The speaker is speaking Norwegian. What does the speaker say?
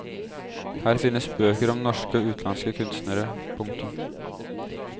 Her finnes bøker om norske og utenlandske kunstnere. punktum